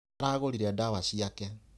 Aragũrire ndawa ciake.